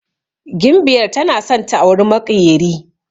Gimbyar tana san ta auri maƙyeri